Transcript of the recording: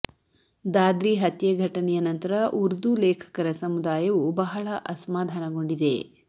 ದಾದ್ರಿ ಹತ್ಯೆ ಘಟನೆಯ ನಂತರ ಉರ್ದು ಲೇಖಕರ ಸಮುದಾಯವು ಬಹಳ ಅಸಮಾಧಾನಗೊಂಡಿದೆ